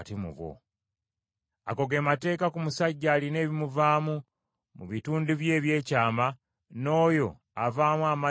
“Ago ge mateeka ku musajja alina ebimuvaamu mu bitundu bye eby’ekyama, n’oyo avaamu amazzi g’obusajja;